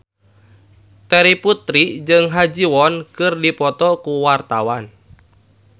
Terry Putri jeung Ha Ji Won keur dipoto ku wartawan